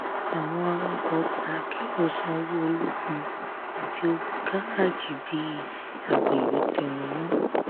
àwọn awakọ̀ ọkọ akérò sanwó ológun àti owó gáràjì bí agbèrò tẹnumọ́.